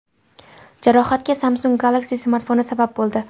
Jarohatga Samsung Galaxy smartfoni sabab bo‘ldi.